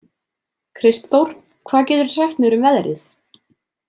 Kristþór, hvað geturðu sagt mér um veðrið?